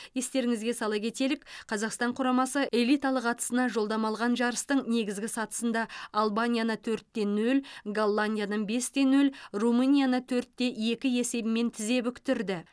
естеріңізге сала кетелік қазақстан құрамасы элиталық атысына жолдама алған жарыстың негізгі сатысында албанияны төртте нөл голландияны бесте нөл румынияны төртте екі есебімен тізе бүктірді